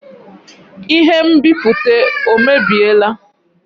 Ihe nbipute ọ mebiela?